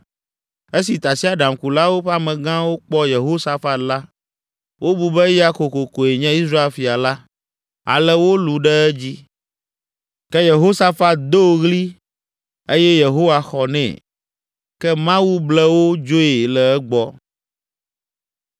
Esi tasiaɖamkulawo ƒe amegãwo kpɔ Yehosafat la, wobu be, eya kokokoe nye Israel fia la. Ale wolũ ɖe edzi, ke Yehosafat do ɣli eye Yehowa xɔ nɛ. Ke Mawu ble wo dzoe le egbɔ